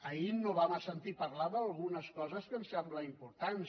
ahir no vam sentir parlar d’algunes coses que ens semblen importants